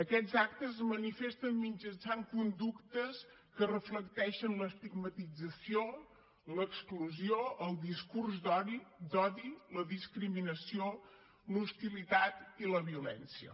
aquests actes es manifesten mitjançant conductes que reflecteixen l’estigmatització l’exclusió el discurs d’odi la discriminació l’hostilitat i la violència